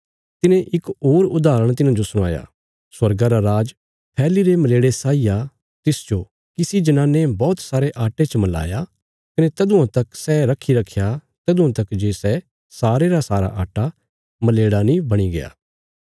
तिने इक होर उदाहरण तिन्हांजो सणवाया स्वर्गा रा राज फैल्लीरे मलेड़े साई आ तिसजो किसी जनाने बौहत सारे आट्टे च मलाया कने तदुआं तक सै रखी रखया तदुआं तक जे सै सारे रा सारा आट्टा मलेड़ा नीं बणीग्या